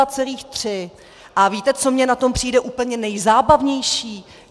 A víte, co mně na tom přijde úplně nejzábavnější?